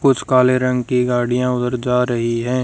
कुछ काले रंग की गाड़ियां उधर जा रही है।